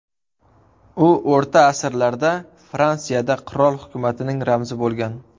U o‘rta asrlarda Fransiyada qirol hukumatining ramzi bo‘lgan.